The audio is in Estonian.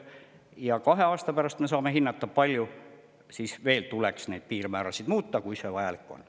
Ja kahe aasta pärast me saame hinnata, palju tuleks veel neid piirmäärasid muuta, kui see vajalik on.